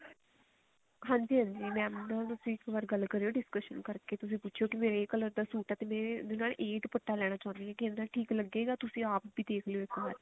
ਹਾਂਜੀ ਹਾਂਜੀ mam ਨਾ ਤੁਸੀਂ ਇੱਕ ਵਾਰੀ ਗੱਲ ਕਰਿਓ discussion ਕਰਕੇ ਤੁਸੀਂ ਪੁੱਛੀਓ ਕੇ ਮੇਰਾ ਇਹ color ਦਾ ਸੂਟ ਹੈ ਵੀ ਮੈਂ ਨਾ ਇਹ ਦੁਪੱਟਾ ਲੈਣਾ ਚਾਹੁੰਦੀ ਹਾਂ ਵੀ ਆਹ ਠੀਕ ਲੱਗੇ ਗਾ ਤੁਸੀਂ app ਦੇਖਲੋ ਇੱਕ ਵਾਰ